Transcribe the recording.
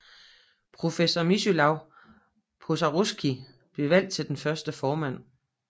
Professor Mieczysław Pożaryski blev valgt til den første formand